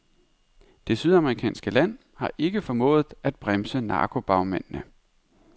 Det sydamerikanske land har ikke formået at bremse narkobagmændene.